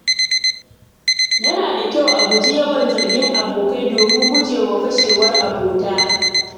Yana da kyau a guji yawan zargin abokai domin guje wa fashewar abota.